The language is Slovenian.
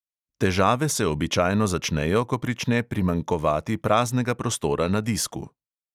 Težave se običajno začnejo, ko prične primanjkovati praznega prostora na disku.